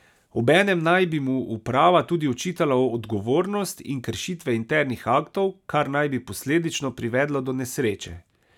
Obenem naj bi mu uprava tudi očitala odgovornost in kršitve internih aktov, kar naj bi posledično privedlo do nesreče.